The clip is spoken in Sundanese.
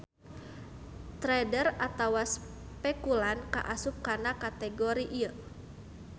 Trader atawa spekulan ka asup kana kategori ieu.